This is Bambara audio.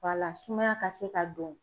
Wala, sumaya ka se ka don.